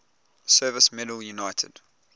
service medal united